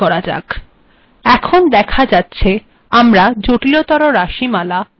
এখােন েদখা যাক